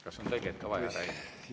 Kas on tõlget ka vaja, Rain?